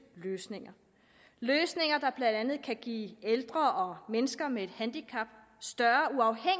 løsninger løsninger der blandt andet kan give ældre mennesker med handicap større